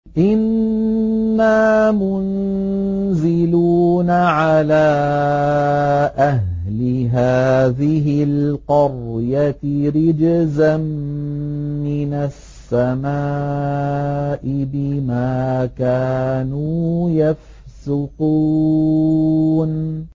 إِنَّا مُنزِلُونَ عَلَىٰ أَهْلِ هَٰذِهِ الْقَرْيَةِ رِجْزًا مِّنَ السَّمَاءِ بِمَا كَانُوا يَفْسُقُونَ